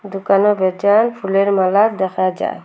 দোকানের ভেতর ফুলের মালা দেখা যায়।